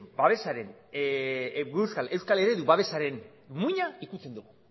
euskal eredu babesaren muina ukitzen dugu